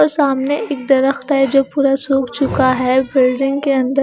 और सामने एक दरख़्त है जो पूरा सुख चुका है बिल्डिंग के अंदर--